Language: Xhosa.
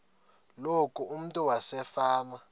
loku umntu wasefama